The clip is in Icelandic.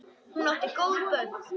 Hún átti góð börn.